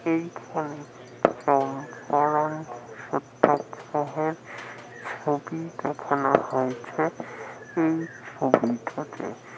এই ফল সত্যাগ্রহের ছবি দেখানো হয়েছে এই ছবিটাতে ।